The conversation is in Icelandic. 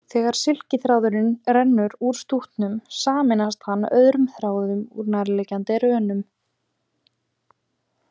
Þegar silkiþráðurinn rennur úr stútnum sameinast hann öðrum þráðum úr nærliggjandi rönum.